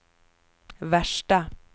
värsta